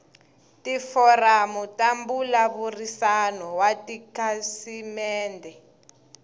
tiforamu ta mbulavurisano wa tikhasimende